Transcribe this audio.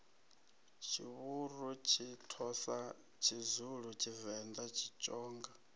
tshivhuru tshithosa tshizulu tshivenda tshitsonga